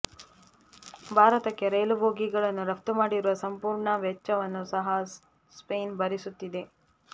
ಭಾರತಕ್ಕೆ ರೈಲು ಬೋಗಿಗಳನ್ನು ರಫ್ತು ಮಾಡಿರುವ ಸಂಪೂರ್ಣ ವೆಚ್ಚವನ್ನು ಸಹ ಸ್ಪೇನ್ ಭರಿಸುತ್ತಿದೆ